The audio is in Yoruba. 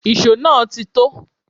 Ìṣó náà ti tó